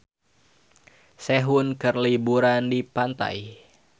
Sehun keur liburan di pantai